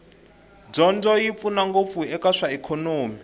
dyondzo yi pfuna ngopfu eka swa ikhonomi